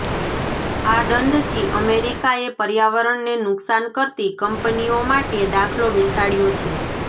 આ દંડથી અમેરિકાએ પર્યાવરણને નુકસાન કરતી કંપનીઓ માટે દાખલો બેસાડયો છે